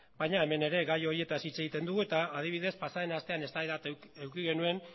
baina hemen ere gai horietaz hitz egiten dugu eta adibidez pasaden astean eztabaida bat eduki genuen